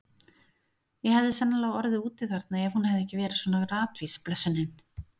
Ég hefði sennilega orðið úti þarna ef hún hefði ekki verið svona ratvís, blessunin.